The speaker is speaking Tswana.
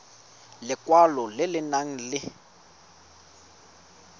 lekwalo le le nang le